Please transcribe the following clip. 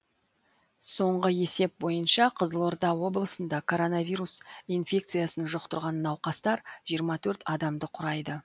соңғы есеп бойынша қызылорда облысында коронавирус инфекциясын жұқтырған науқастар жиырма төрт адамды құрайды